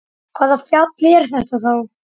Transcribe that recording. Hvaða fjall er þetta þá?